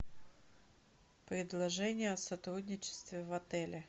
предложение о сотрудничестве в отеле